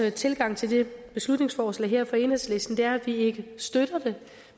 tilgang til det beslutningsforslag her fra enhedslisten er at vi ikke støtter det